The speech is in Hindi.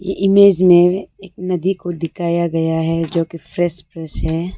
इमेज में एक नदी को दिखाया गया है जो की फ्रेश फ्रेश है।